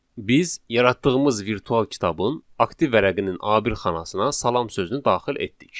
Biz yaratdığımız virtual kitabın aktiv vərəqinin A1 xanasına salam sözünü daxil etdik.